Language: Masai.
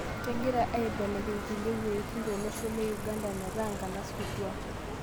Kegirai aibelekeny kulie weitin to losho Uganda metaa nkanas kutuak